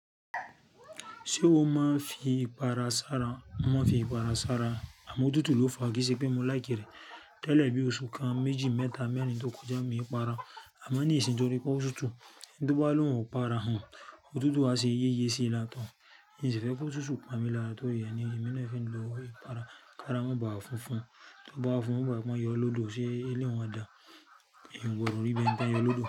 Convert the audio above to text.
Ṣé ó máa fi ipara sára? Ma fi ipara sára, àmọ́ òtútù ló fa kí sé pé mo láìkì rẹ̀. Tẹ́lẹ̀ bí oṣù kan, méjì, mẹ́ta, mẹ́rin tó kọjá mo yí ipara, a máa ní ìsinmi torí pé ó ṣotùtù. Tí ó bá lóhùn ipara hàn, òtútù á ṣe yéyé sí i látọ̀ọ́. N ò sì fẹ́ kó ṣotùtù pamí lọ torí ẹni mí nìyẹn fẹ́ lo ipara. Ipara máa ń ba funfun, tí ó bá fún, ó ba ọ yọ lọ́dò, ṣé eléwọ̀n dáa? Ìwọ gbọ́dọ̀ rí bí ẹni tí a ń yọ lọ́dò.